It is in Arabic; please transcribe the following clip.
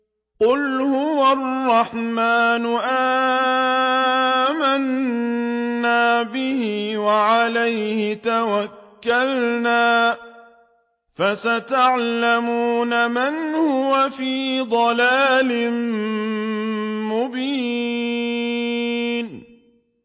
قُلْ هُوَ الرَّحْمَٰنُ آمَنَّا بِهِ وَعَلَيْهِ تَوَكَّلْنَا ۖ فَسَتَعْلَمُونَ مَنْ هُوَ فِي ضَلَالٍ مُّبِينٍ